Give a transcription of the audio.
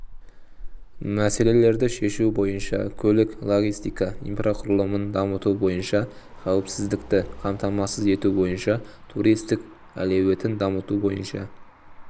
мәселелерді шешу бойынша көлік-логистика инфрақұрылымын дамыту бойынша қауіпсіздікті қамтамасыз ету бойынша туристік әлеуетін дамыту бойынша